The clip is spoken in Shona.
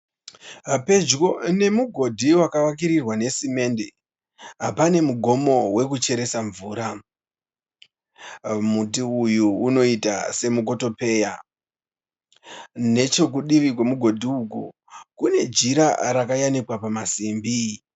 Pedyo nemugodhi wakavakirirwa nesimende. Pane mugomo wekucheresa mvura. Muti uyu unoita semukotopeya. Nechokudivi kwemugodhi uku kune jira rayamikwa pamasimbi.